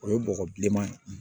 O ye bɔgɔ bileman ye